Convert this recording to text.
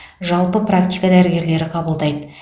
жалпы практика дәрігерлері қабылдайды